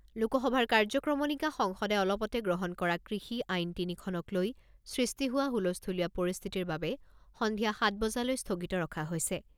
লোকসভাৰ কাৰ্যক্ৰমণিকা সংসদে অলপতে গ্ৰহণ কৰা কৃষি আইন তিনিখনক লৈ সৃষ্টি হোৱা হুলস্থূলীয়া পৰিস্থিতিৰ বাবে সন্ধিয়া সাত বজালৈ স্থগিত ৰখা হৈছে।